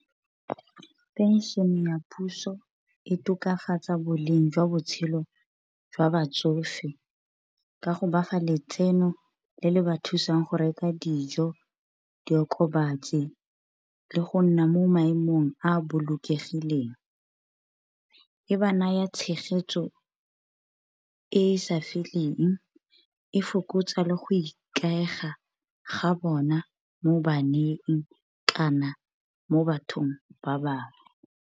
Pension-e ya puso e tokafatsa bo leng jwa botshelo jwa batsofe ka go ba fa letseno le le ba thusang go reka dijo, diokobatsi, le go nna mo maemong a bolokegileng. E ba naya tshegetso e sa feleng, e fokotsa le go ikaega ga bona mo baneng, kana mo bathong ba bangwe.